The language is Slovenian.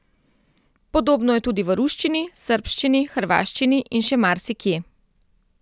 Podobno je tudi v ruščini, srbščini, hrvaščini in še marsikje.